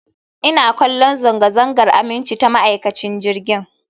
Ina kallon zanga-zangar aminci ta ma'aikacin jirgin